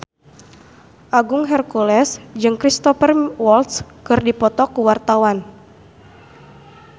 Agung Hercules jeung Cristhoper Waltz keur dipoto ku wartawan